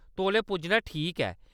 तौले पुज्जना ठीक ऐ।